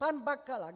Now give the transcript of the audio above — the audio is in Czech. Pan Bakala.